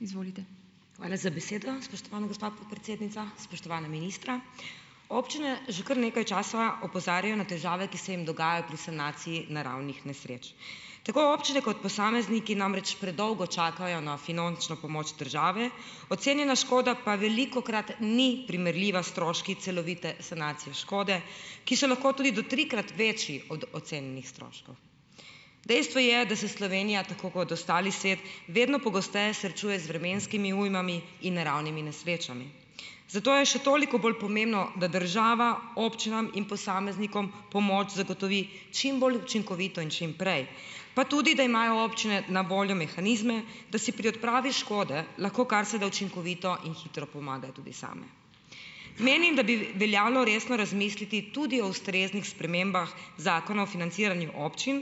Hvala za besedo, spoštovana gospa podpredsednica. Spoštovana ministra. Občine že kar nekaj časa opozarjajo na težave, ki se jim dogajajo pri sanaciji naravnih nesreč. Tako občine kot posamezniki namreč predolgo čakajo na finančno pomoč države, ocenjena škoda pa velikokrat ni primerljiva s stroški celovite sanacije škode, ki so lahko tudi do trikrat večji od ocenjenih stroškov. Dejstvo je, da se Slovenija, tako kot ostali svet, vedno pogosteje srečuje z vremenskimi ujmami in naravnimi nesrečami, zato je še toliko bolj pomembno, da država občinam in posameznikom pomoč zagotovi čim bolj učinkovito in čim prej, pa tudi, da imajo občine na voljo mehanizme, da si pri odpravi škode lahko karseda učinkovito in hitro pomagajo tudi same. Menim, da bi veljalo resno razmisliti tudi o ustreznih spremembah Zakona o financiranju občin,